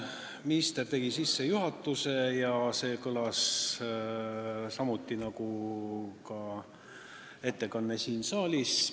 Minister tegi sissejuhatuse, mis kõlas samuti nagu ettekanne siin saalis.